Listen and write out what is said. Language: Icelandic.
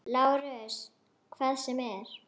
LÁRUS: Hvað sem er.